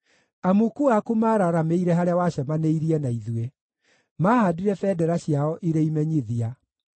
Amuku aku mararamĩire harĩa wacemanĩirie na ithuĩ; maahaandire bendera ciao irĩ imenyithia.